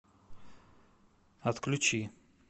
отключи